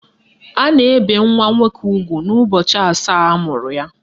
A na-ebe nwa nwoke ugwu n'ụbọchị asaa amụrụ ya.